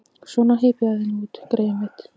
Svona, hypjaðu þig nú út, greyið mitt.